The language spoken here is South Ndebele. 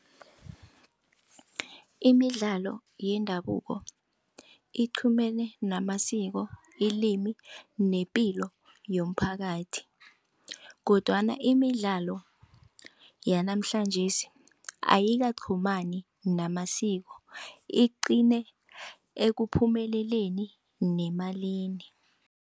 Imidlalo yendabuko iqhumene namasiko ilimi nepilo yomphakathi kodwana imidlalo yanamhlanjesi ayikaqhumani namasiko iqine ekuphumeleleni nemalini.